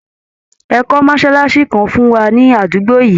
Ẹ kọ́ mọ́ṣálásí kan fún wa ní àdúgbò yìí!